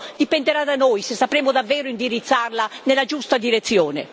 Dipenderà da noi se sapremo davvero indirizzarla nella giusta direzione.